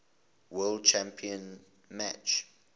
world championship match